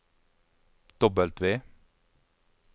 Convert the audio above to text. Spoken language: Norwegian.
W